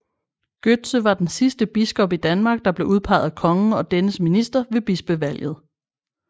Gøtzsche var den sidste biskop i Danmark der blev udpeget af kongen og dennes minister ved bispevalget